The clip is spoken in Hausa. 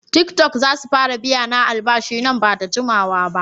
Tiktok zasu fara biyana albashi nan bada jikawaba.